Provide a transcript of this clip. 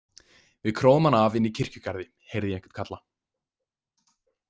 Við króum hann af inni í kirkjugarði, heyrði ég einhvern kalla.